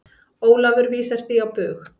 Ólafur vísar því á bug.